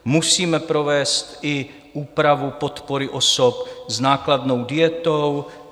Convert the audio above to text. Musíme provést i úpravu podpory osob s nákladnou dietou.